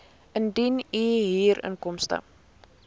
indien u huurinkomste